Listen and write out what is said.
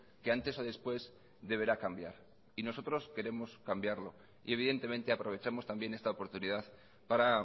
que antes o después deberá cambiar y nosotros queremos cambiarlo y evidentemente aprovechamos también esta oportunidad para